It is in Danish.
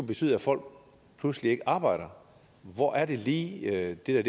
betyde at folk pludselig ikke arbejder hvor er det lige at det